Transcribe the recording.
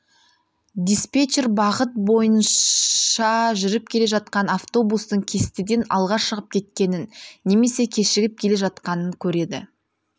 диспетчер бағыт бойынша жүріп келе жатқан автобустың кестеден алға шығып кеткенін немесе кешігіп келе жатқанын көреді